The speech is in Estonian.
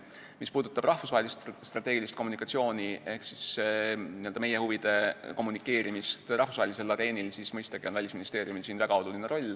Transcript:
Mis puudutab rahvusvahelist strateegilist kommunikatsiooni ehk meie huvide kommunikeerimist rahvusvahelisel areenil, siis mõistagi on Välisministeeriumil siin väga oluline roll.